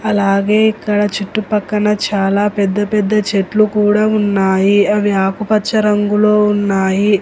అలాగే ఇక్కడ చుట్టుపక్కన చాలా పెద్ద పెద్ద చెట్లు కూడా ఉన్నాయి అవి ఆకుపచ్చ రంగులో ఉన్నాయి.